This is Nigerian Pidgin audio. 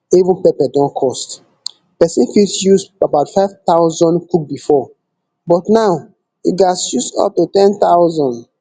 even pepper don cost pesin fit use about five thousand cook bifor but now you gatz use up to ten thousand